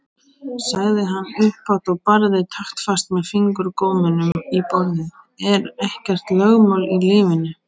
sagði hann upphátt og barði taktfast með fingurgómunum í borðið:-Er ekkert lögmál í lífinu!